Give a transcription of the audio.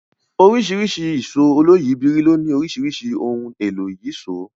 Oríṣiríṣi ìṣó oloyìibírí ló nílò oríṣiríṣi ohun èlò ìyíṣòó